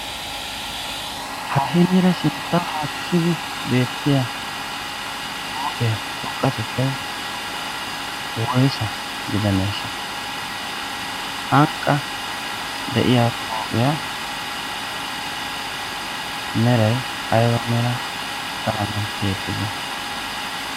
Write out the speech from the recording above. ha hiniira sintta hakkibi beettiya pooqiyaa xouqqatettai woisa gidaneeshsha ?hanqqa de7iya pooqiyaa merai aib a mera qalamen tiyettite?